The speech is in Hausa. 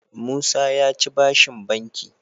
Musa yaci bashin banki